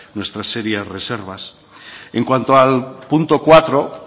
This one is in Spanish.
nuestras serias reservas en cuanto al punto cuatro